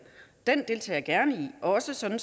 også sådan